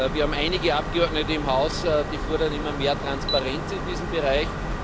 Wir haben einige Abgeordnete im Haus, die fordern immer mehr Transparenz in diesem Bereich.